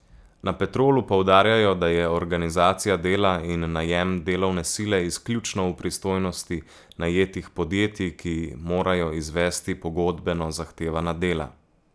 Na Petrolu poudarjajo, da je organizacija dela in najem delovne sile izključno v pristojnosti najetih podjetij, ki morajo izvesti pogodbeno zahtevana dela.